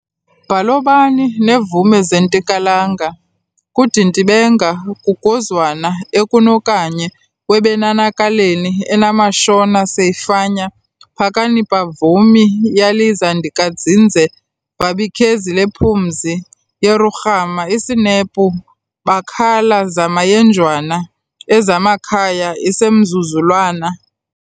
Bhalobani nevume seZintikakalanga, kudintiBenga kugonzwana eKonokanye webenanakaleni enamaShona seiFanya phakamanipamvumi yalizandikatsinze vabikhezi lePhumzi yeRugama isinepu vakhala zamayenjwana aZavamakhaya isemzuzalwana